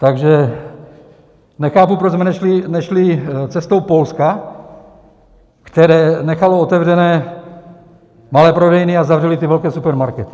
Takže nechápu, proč jsme nešli cestou Polska, které nechalo otevřené malé prodejny a zavřelo ty velké supermarkety.